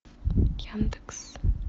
яндекс